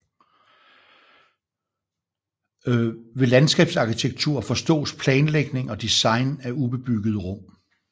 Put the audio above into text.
Ved landskabsarkitektur forstås planlægning og design af ubebyggede rum